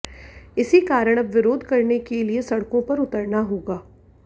इसी कारण अब विरोध करने के लिए सड़कों पर उतरना होगा